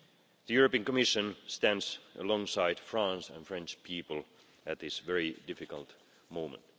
The European Commission stands alongside France and the French people at this very difficult moment.